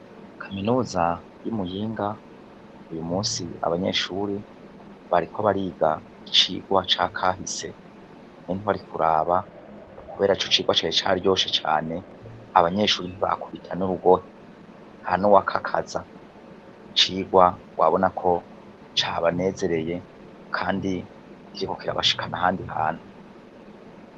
Kaminuza yi muyinga uyu munsi bariko bariga kubera yuko ico cigwa cari caryoshe cane abanyeshure ntibakubita n' urugohe ntanuwa kakaza icigwa wabona ko cabanezereye kandi kiriko kirabashikana ahandi hantu.